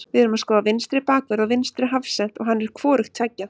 Við erum að skoða vinstri bakvörð og vinstri hafsent og hann er hvorugt tveggja.